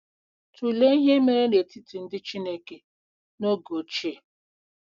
Tụlee ihe mere n’etiti ndị Chineke n’oge ochie.